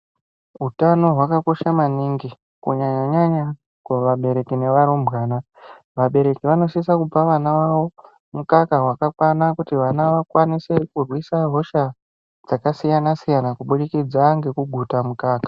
Utano hwakakosha maningi kunyanyanyanya kuvabereki nevarumbwana vavo, vabereki vanosisa kupa vana vavo mukaka wakakwana kuti vana vakwanise kurwisa hosha dzakasiyana siyana kubudikidze ngekugute mukaka.